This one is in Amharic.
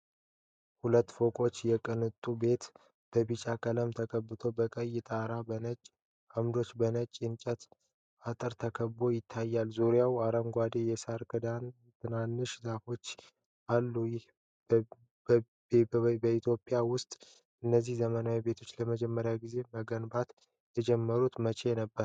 ሁለት ፎቅ የቅንጦት ቤት በቢጫ ቀለም ተቀብቶ፣ በቀይ ጣራ፣ በነጭ አምዶችና በነጭ የእንጨት አጥር ተከቦ ይታያል፣ ዙሪያውም አረንጓዴ የሣር ክዳንና ትናንሽ ዛፎች አሉ። ይህ ቤበኢትዮጵያ ውስጥ እነዚህ ዘመናዊ ቤቶች ለመጀመሪያ ጊዜ መገንባት የጀመሩት መቼ ነበር?